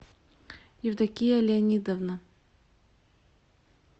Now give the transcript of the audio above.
евдокия леонидовна